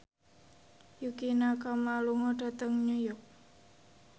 Yukie Nakama lunga dhateng New York